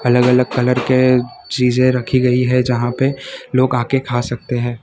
अलग अलग कलर के चीजे रखी गई है जहां पे लोग आके खा सकते हैं।